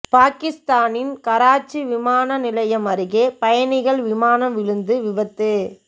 பாகிஸ்தானின் கராச்சி விமான நிலையம் அருகே பயணிகள் விமானம் விழுந்து விபத்து